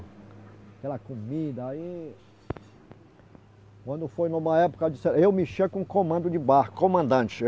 Aquela comida aí... Quando foi numa época, eu mexia com comando de barco, comandante.